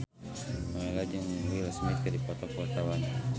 Nowela jeung Will Smith keur dipoto ku wartawan